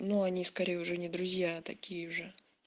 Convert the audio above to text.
ну они скорее уже не друзья а такие же